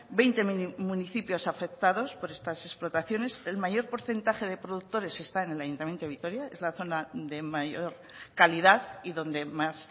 veinte municipios afectados por estas explotaciones el mayor porcentaje de productores está en el ayuntamiento de vitoria es la zona de mayor calidad y donde más